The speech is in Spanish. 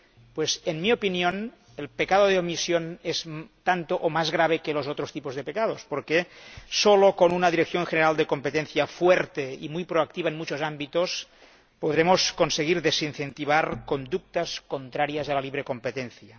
Pues, en mi opinión, el pecado de omisión es tanto o más grave que los otros tipos de pecados, porque solo con una Dirección General de Competencia fuerte y muy proactiva en muchos ámbitos podremos conseguir desincentivar conductas contrarias a la libre competencia.